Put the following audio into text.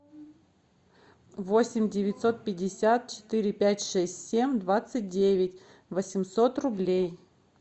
восемь девятьсот пятьдесят четыре пять шесть семь двадцать девять восемьсот рублей